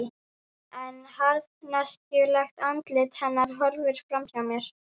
En harðneskjulegt andlit hennar horfir fram hjá mér.